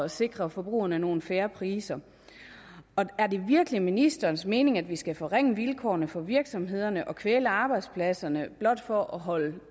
sikre forbrugerne nogle fair priser er det virkelig ministerens mening at vi skal forringe vilkårene for virksomhederne og kvæle arbejdspladserne blot for at holde